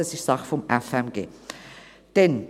Das ist also Sache des FMG.